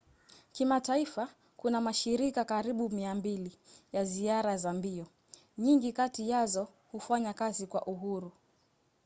kimataifa kuna mashirika karibu 200 ya ziara za mbio. nyingi kati yazo hufanya kazi kwa uhuru